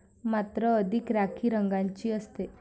मात्र अधिक राखी रंगाची असते.